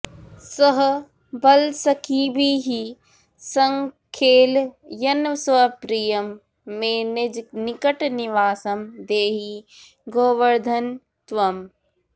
सह बलसखिभिः सङ्खेलयन्स्वप्रियं मे निजनिकटनिवासं देहि गोवर्धन त्वम्